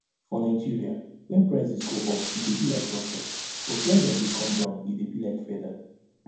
for nigeria wen prices go up e dey be like rocket but wen dem dey come down e dey be like feather